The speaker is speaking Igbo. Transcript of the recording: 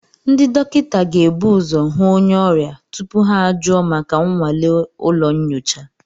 Ndị dọkịta ga-ebu ụzọ hụ onye ọrịa tupu ha ajụọ maka nnwale ụlọ nyocha